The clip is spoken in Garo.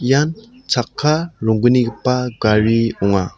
ian chakka ronggnigipa gari ong·a.